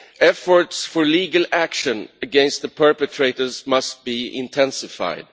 Efforts for legal action against the perpetrators must be intensified.